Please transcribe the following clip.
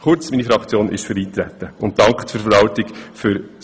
Unsere Fraktion stimmt dem Eintreten zu.